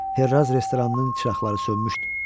Ferraz restoranının çıraqları sönmüşdü.